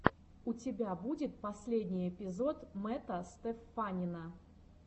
у тебя будет последний эпизод мэтта стеффанина